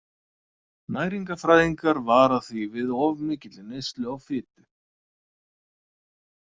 Næringarfræðingar vara því við of mikilli neyslu á fitu.